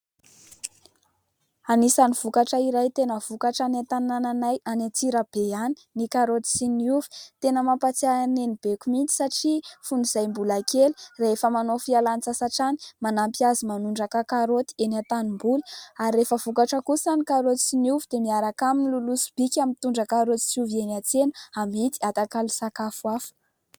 Anisan'ny vokatra iray tena vokatra any an-tanànanay any Antsirabe any ny karaoty sy ny ovy. Tena mampatsiahy ahy an'ny nenibeko mihitsy satria fony izahay mbola kely rehefa manao fialan-tsasatra any, manampy azy manondraka karaoty eny an-tanimboly ary rehefa vokatra kosa ny karaoty sy ny ovy dia miaraka aminy miloloha sobika mitondra karaoty sy ovy eny an-tsena, amidy atakalo sakafo hafa.